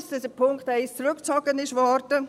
Ich bedauere, dass der Punkt 1 zurückgezogen wurde.